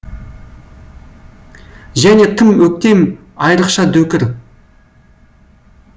және тым өктем айрықша дөкір